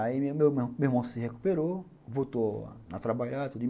Aí meu meu irmão se recuperou, voltou a trabalhar.